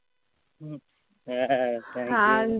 হ্যাঁ thank you